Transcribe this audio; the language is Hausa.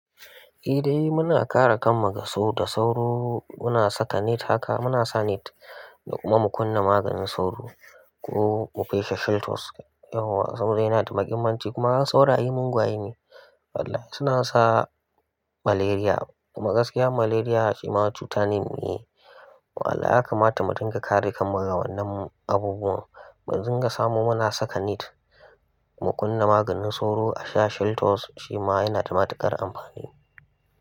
Eh dai muna kare kan mu daga sauro da sauro. Muna saka net haka, muna sa net da kuma mu kunna maganin sauro ko mu feshe sheltous. Yawwa. Sauro yana da mahimmanci kuma sauraye mungwaye ne. Wallahi suna sa malaria kuma gaskiya malaria shi ma cutane ne. Wallahi ya kamata mu dun ga kare kan mu daga wannan abubuwan. Mu dinga samu muna saka net mu kunna maganin sauro a sha sheltous shi ma yana da matuƙar amfani.